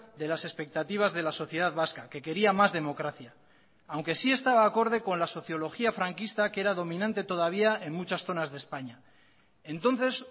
de las expectativas de la sociedad vasca que quería más democracia aunque sí estaba acorde con la sociología franquista que era dominante todavía en muchas zonas de españa entonces